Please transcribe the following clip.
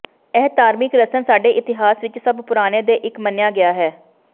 ਇਹ ਧਾਰਮਿਕ ਰਸਮ ਸਾਡੇ ਇਤਿਹਾਸ ਵਿਚ ਸਭ ਪੁਰਾਣੇ ਦੇ ਇੱਕ ਮੰਨਿਆ ਗਿਆ ਹੈ